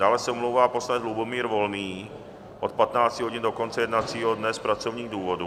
Dále se omlouvá poslanec Lubomír Volný od 15 hodin do konce jednacího dne z pracovních důvodů.